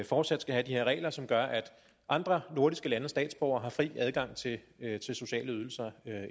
fortsat skal have de her regler som gør at andre nordiske landes statsborgere har fri adgang til sociale ydelser